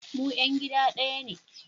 Mu ‘yan gida daya ne